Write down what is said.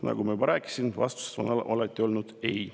Nagu ma juba rääkisin, vastus on alati olnud ei.